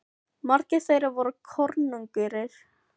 Hvað getum við Þróttarar lært af því?